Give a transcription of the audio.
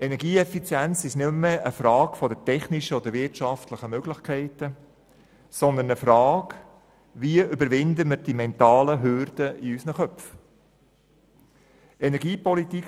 Energieeffizienz ist nicht mehr eine Frage der technischen und wirtschaftlichen Möglichkeiten, sondern eine Frage, wie wir die mentalen Hürden in unseren Köpfen überwinden.